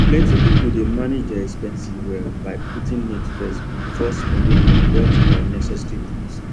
plenty people dey manage their expenses well by putting needs first before spending on wants or unnecessary things